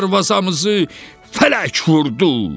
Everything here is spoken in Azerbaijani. Darvazamızı fələk vurdu!